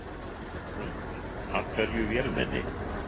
Hrund: Af hverju vélmenni?